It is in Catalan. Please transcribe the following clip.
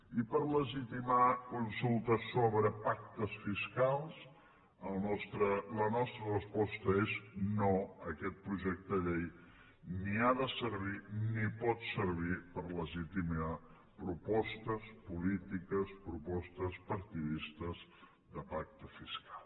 i per legitimar consultes sobre pactes fiscals la nostra resposta és no aquest projecte de llei ni ha de servir ni pot servir per legitimar propostes polítiques propostes partidistes de pacte fiscal